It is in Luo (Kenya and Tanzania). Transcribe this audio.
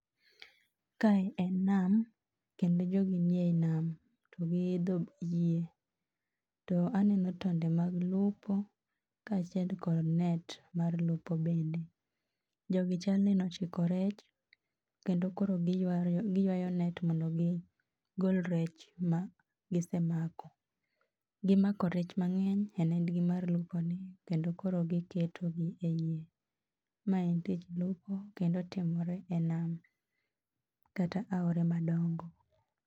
Kae en nam kendo jogi nie ei nam. To giidho yie. To aneno tonde mag lupo ka achiel kod net mar lupo bende. Jogi chalni nochiko rech kendo koro giywayo giywayo net mondo mi gol rech magi semako. Gimako rech mang'eny e nedgi mar luponi kendo koro giketogi e yie. Maen tich luopo kendo timore e nam, kata aore madongo.